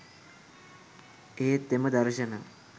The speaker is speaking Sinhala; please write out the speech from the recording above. එහෙත් එම දර්ශන